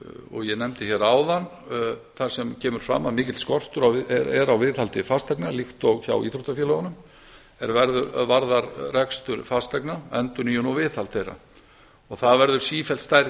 og ég nefndi hér áðan þar sem kemur fram að mikill skortur er á viðhaldi fasteigna líkt og hjá íþróttafélögunum er varðar rekstur fasteigna endurnýjun og viðhald þeirra og það verður sífellt stærri